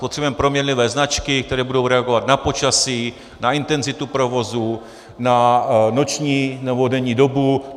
Potřebujeme proměnlivé značky, které budou reagovat na počasí, na intenzitu provozu, na noční nebo denní dobu.